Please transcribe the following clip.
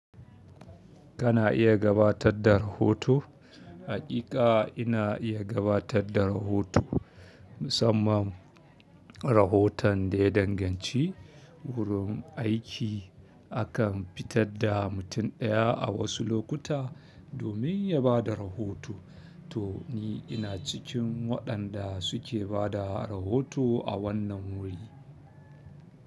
Kana iya gabatar da rahoto? Haƙiƙa ina iya gabatar da rahoto, musamman rahoton ɗaya danganci. Gurun aiki akan fitar da mutum ɗaya a wasu lokuta domin ya ba da rahoto. To ni ina cikin waɗanda suke ba da rahoto a wannan wuri.